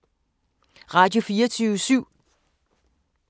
Radio24syv